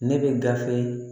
Ne bɛ gafe